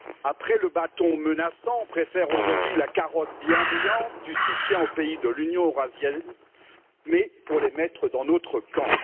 Après le bâton menaçant, on préfère aujourd'hui la carotte bienveillante du soutien aux pays de l'Union économique eurasienne, mais pour les mettre dans notre camp.